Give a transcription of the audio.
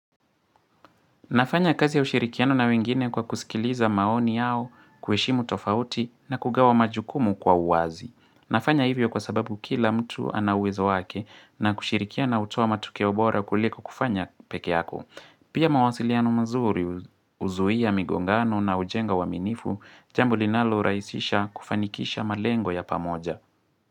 Nafanya kazi ya ushirikiano na wengine kwa kusikiliza maoni yao, kueshimu tofauti na kugawa majukumu kwa uwazi. Nafanya hivyo kwa sababu kila mtu ana uwezo wake na kushirikiana hutoa matokeo bora kuliko kufanya pekeako. Pia mawasiliano mazuri huzuia migongano na hujenga uaminifu, jambo linaloraisisha kufanikisha malengo ya pamoja.